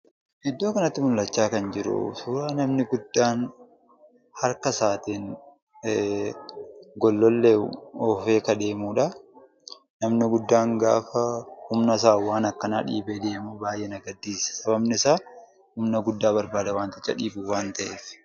Iddoo kanatti mul'achaa kan jiru suuraa namni guddaan harka isaatiin gollollee oofee ka deemudha. Namni guddaan gaafa humna isaan waan akkanaa dhiibee deemu baay'ee na gaddisiisa. Sababni isaas, gollollee dhiibuuf humna guddaa barbaada.